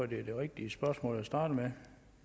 det er det rigtige spørgsmål jeg starter med